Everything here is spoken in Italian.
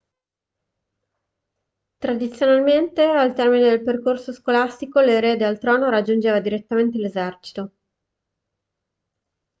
tradizionalmente al termine del percorso scolastico l'erede al trono raggiungeva direttamente l'esercito